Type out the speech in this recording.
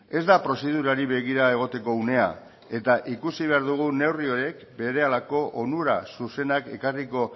ez da prozedurari begira egoteko unea eta ikusi behar dugu neurri hauek berehalako onura zuzenak ekarriko